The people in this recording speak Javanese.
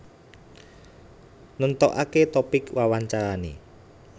Nentokake topik wawancarane